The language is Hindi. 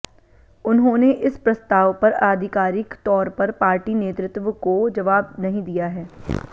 उन्होंने इस प्रस्ताव पर आधिकारिक तौर पर पार्टी नेतृत्व को जवाब नहीं दिया है